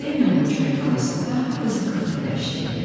Semyonovun çörəkxanasında hardasa 40 nəfər işləyirdi.